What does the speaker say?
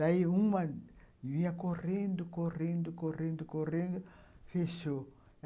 Daí uma vinha correndo, correndo, correndo, correndo, fechou.